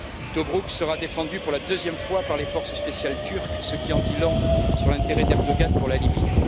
Tobrouk sera défendu pour la deuxième fois par les forces spéciales turques, ce qui en dit long sur l'intérêt d'Erdoğan pour la Libye.